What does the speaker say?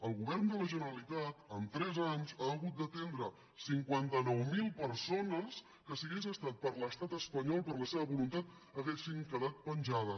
el govern de la generalitat en tres anys ha hagut d’atendre cinquanta nou mil persones que si hagués estat per l’estat espanyol per la seva voluntat haurien quedat penjades